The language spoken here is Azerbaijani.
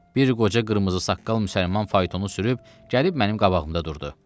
Bir qoca qır qocaman saqqal müsəlman faytonu sürüb gəlib mənim qabağımda durdu.